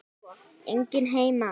Enginn heima!